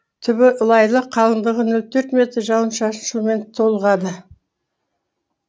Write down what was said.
түбі лайлы қалыңдығы нөл төрт метр жауын шашын суымен толығады